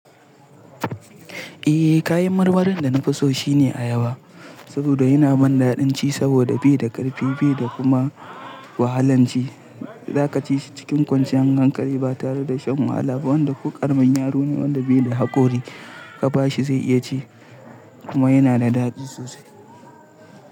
Eh kayan marmarin da na fi so shine ayaba. Saboda yana man daɗin ci saboda bai da ƙarfi bai da kuma wahalanci. Za ka ci shi cikin kwanciyar hankali ba tare da shan wahala ba. Wanda ko karamin yaro ne wanda bai da haƙori ka ba shi zai iya ci kuma yana da daɗi sosai.